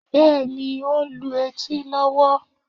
Bẹ́ẹ̀ ni, ó ń lu etí lọ́wọ́